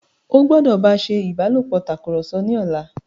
o gbódò bá ṣe ìbálòpọ̀ Tàkùrọ̀sọ ní ọlá!